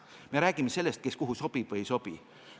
Me räägime sellest, kes kuhu sobib või ei sobi.